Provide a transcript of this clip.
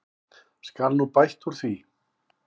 Skal nú bætt úr því.